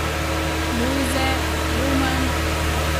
Lojze, Roman ...